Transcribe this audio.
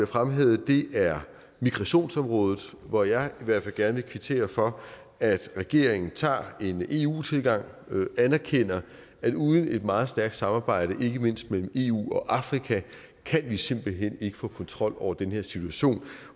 fremhævet er migrationsområdet hvor jeg i hvert fald gerne vil kvittere for at regeringen tager en eu tilgang og anerkender at uden et meget stærkt samarbejde ikke mindst mellem eu og afrika kan vi simpelt hen ikke få kontrol over den her situation